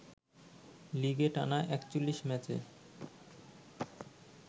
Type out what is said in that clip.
লিগে টানা ৪১ ম্যাচে